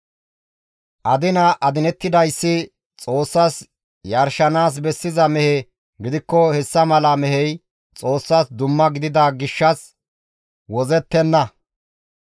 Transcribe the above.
« ‹Adina adinettidayssi Xoossas yarshanaas bessiza mehe gidikko hessa mala mehey Xoossas dumma gidida gishshas wozzettenna.